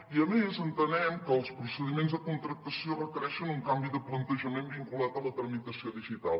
i a més entenem que els procediments de contractació requereixen un canvi de plantejament vinculat a la tramitació digital